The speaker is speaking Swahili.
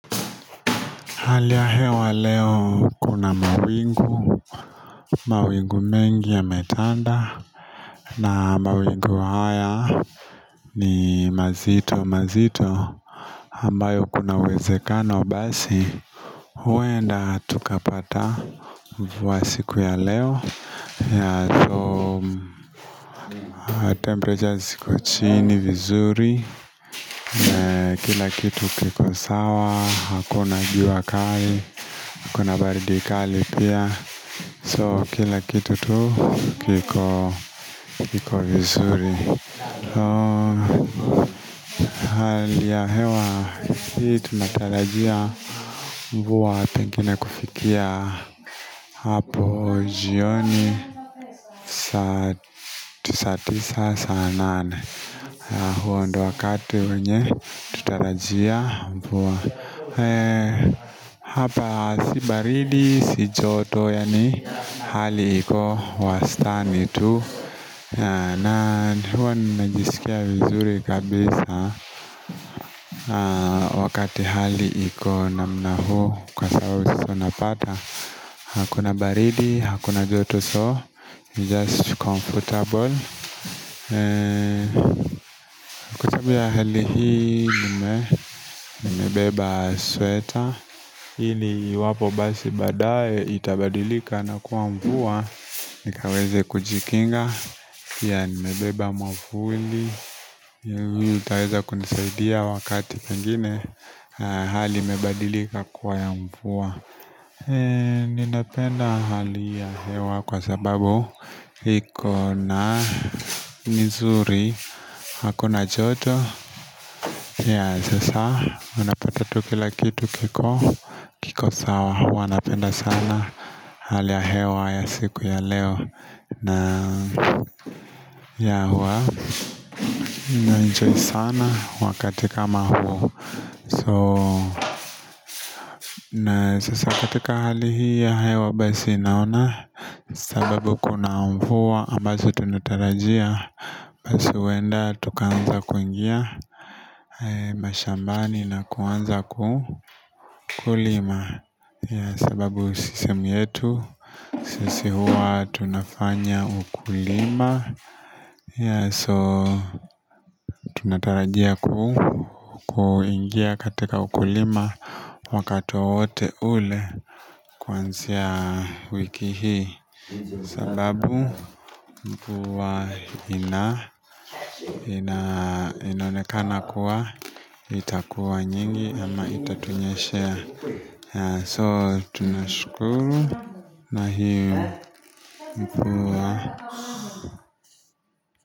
Hali ya hewa leo kuna mawingu mawingu mengi yametanda na mawingu haya ni mazito mazito ambayo kuna uwezekano basi huenda tukapata wa siku ya leo ya Temperatures kochini vizuri Kila kitu kikosawa Hakuna jua kali Hakuna baridi kali pia So kila kitu tu kiko kiko vizuri Hali ya hewa hii tunatarajia mvua pengine kufikia hapo jioni saa tu satisa sa anane huo ndo wakati wenye tutarajia mvua Hapa si baridi, si joto, yani hali hiko wastani tu na huwa najiskia vizuri kabisa Wakati hali iko namna huu kwa sababu sasa napata Hakuna baridi, hakuna joto so Just comfortable Chabu ya hali hii nime nimebeba sweater ili iwapo basi baadae itabadilika na kuwa mvua nikaweze kujikinga pia nimebeba mwavuli Yuhu itaweza kunisaidia wakati pengine Hali mebadilika kuwa ya mvua Ninapenda hali ya hewa kwa sababu iko na mzuri Hakuna joto ya sasa unapata tukila kitu kiko kiko sawa hua napenda sana hali ya hewa ya siku ya leo na ya hua na enjoy sana wakati kama huo So na sasa katika hali hii ya hewa basi naona sababu kuna mvua ambazo tunatarajia Basi huenda tukaanza kuingia mashambani na kuanza kukulima sababu sisi mietu sisi huwa tunafanya ukulima So tunatarajia ku kuingia katika ukulima wakati wote ule kuansia wiki hii sababu mvua ina ina inaonekana kuwa itakuwa nyingi ama itatunyeshea ya so tuna shkulu na hii mvua.